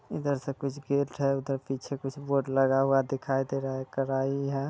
इधर से कुछ गेट है उदहर पीछे कुछ बोर्ड लगा हुआ दिखाय दे रहा है करायी है।